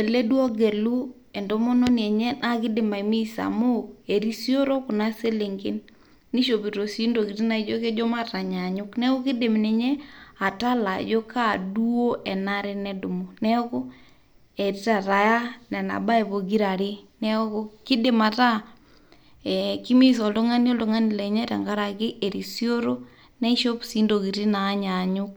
ele duoo ogelu entomononi enye naa kiidim aimissa amu erisioro kuna selenken, nishopito sii intokitin naijio kejo matanyanyuk neeku iindiim ninye atala ajo kaa nabo duoo enare nedumu neeku eeta taa nena baye pokirare neeku kidim ataa ee kimiss oltung'ani oltung'ani lenye tenkaraki erisioro neishop sii intokitin naanyaanyuk.